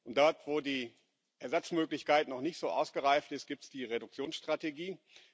Und dort, wo die Ersatzmöglichkeit noch nicht so ausgereift ist, gibt es die Reduktionsstrategie.